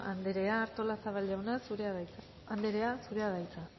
anderea artolazabal anderea zurea da hitza